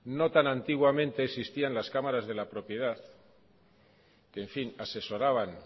no tan antiguamente existían las cámaras de la propiedad que en fin asesoraban